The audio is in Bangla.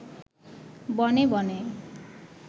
বনে বনে